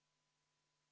Austatud Riigikogu!